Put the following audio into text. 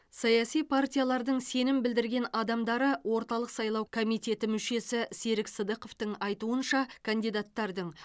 саяси партиялардың сенім білдірген адамдары орталық сайлау комитеті мүшесі серік сыдықовтың айтуынша кандидаттардың